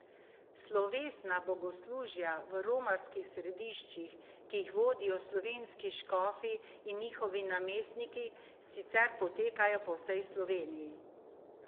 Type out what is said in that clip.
Slovesna bogoslužja v romarskih središčih, ki jih vodijo slovenski škofi in njihovi namestniki, sicer potekajo po vsej Sloveniji.